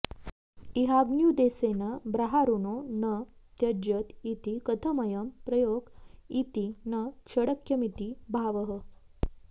इहाग्न्युद्देसेन ब्राआहृणो न त्यज्यत इति कथमयं प्रयोग इति न शङ्क्यमिति भावः